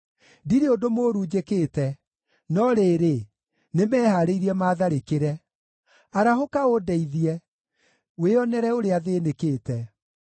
Ndirĩ ũndũ mũũru njĩkĩte, no rĩrĩ, nĩmehaarĩirie maatharĩkĩre. Arahũka ũndeithie; wĩonere ũrĩa thĩĩnĩkĩte!